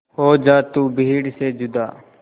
हो जा तू भीड़ से जुदा